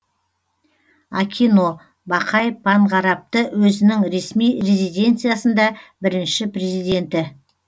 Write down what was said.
акино бақай панғарапты өзінің ресми резиденциясында бірінші президенті